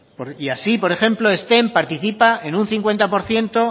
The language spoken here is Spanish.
y así por ejemplo ezten participa en un cincuenta por ciento